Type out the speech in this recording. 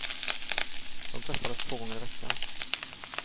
De träffades två gånger i veckan.